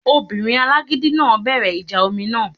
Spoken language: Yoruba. Obìnrin alágídí náà bẹ̀rẹ̀ ìjà omi náà